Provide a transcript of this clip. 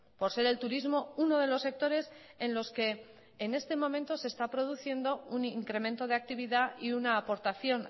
por ser el turismo uno de los sectores en los que en este momento se está produciendo un incremento de actividad y una aportación